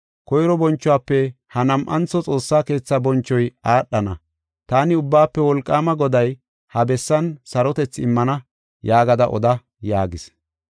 Koyro bonchuwafe ha nam7antho xoossa keetha bonchoy aadhana. Taani Ubbaafe Wolqaama Goday ha bessan sarotethi immana yaagada oda” yaagis.